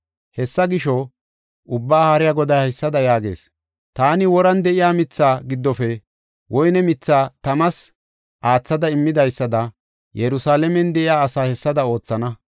Hessa gisho, Ubbaa Haariya Goday haysada yaagees: “Taani woran de7iya mithaa giddofe woyne mithaa tamas aathada immidaysada Yerusalaamen de7iya asaa hessada oothana.